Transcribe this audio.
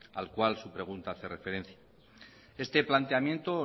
al cual su pregunta hace referencia este planteamiento